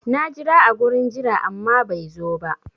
Na jira a gurin jira amma bai zo ba.